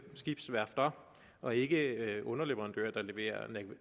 skibsværfterne og ikke underleverandører der leverer